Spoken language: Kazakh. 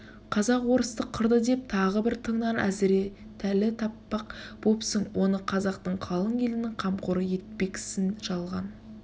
қазақ орысты қырды деп тағы бір тыңнан әзіретәлі таппақ бопсың оны қазақтың қалың елінің қамқоры етпексін жалған